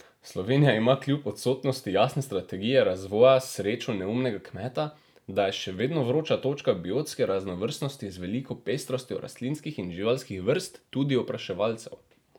Slovenija ima kljub odsotnosti jasne strategije razvoja srečo neumnega kmeta, da je še vedno vroča točka biotske raznovrstnosti z veliko pestrostjo rastlinskih in živalskih vrst, tudi opraševalcev.